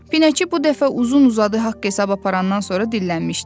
Pinəçi bu dəfə uzun-uzadı haqq-hesab aparandan sonra dillənmişdi: